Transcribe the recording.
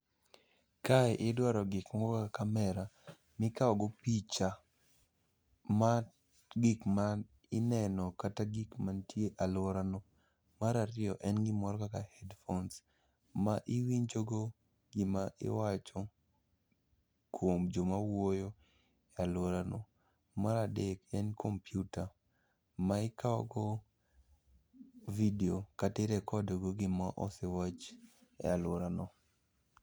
Kae idwaro gik moko kaka kamera mikawo go picha, ma gik ma ineno kata gik mantie e alworano. Mar ariyo, en gimoro kaka headphones ma iwinjogo gima iwacho kuom joma wuoyo e alworano. Mar adek en kompyuta ma ikawogo video kata i record go gimosewach e alworano.